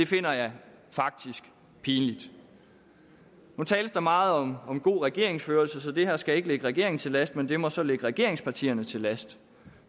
finder jeg faktisk pinlig nu tales der meget om om god regeringsførelse så det her skal ikke ligge regeringen til last men det må så ligge regeringspartierne til last